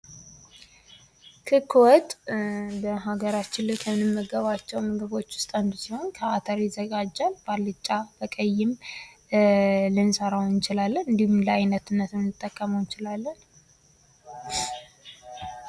ክክ ወጥ በሀገራችን ላይ ከምንመገብባቸው ምግቦች ውስጥ አንዱ ሲሆን ከአተር ይዘጋጃል። በዓልጫም፣ በቀይም ልንሰራው እንችላለን ።እንዲሁም ለአይነትነት ልንጠቀመው እንችላለን።